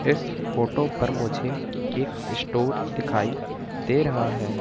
इस फोटो पर मुझे एक स्टोअर दिखाई दे रहा है।